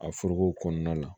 A foroko kɔnɔna la